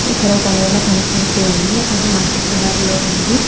ఇక్కడ ఒక నెల కనపడుతుంది అది మట్టి కలర్ లో ఉంది.